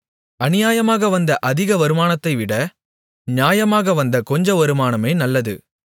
அநியாயமாக வந்த அதிக வருமானத்தைவிட நியாயமாக வந்த கொஞ்ச வருமானமே நல்லது